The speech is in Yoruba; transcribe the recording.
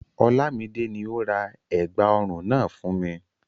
Olamide ni ó ra ẹ̀gbà ọrùn náà fún mi.